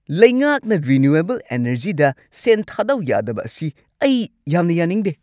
ꯂꯩꯉꯥꯛꯅ ꯔꯤꯅ꯭ꯌꯨꯋꯦꯕꯜ ꯑꯦꯅꯔꯖꯤꯗ ꯁꯦꯟ ꯊꯥꯗꯧ ꯌꯥꯗꯕ ꯑꯁꯤ ꯑꯩ ꯌꯥꯝꯅ ꯌꯥꯅꯤꯡꯗꯦ ꯫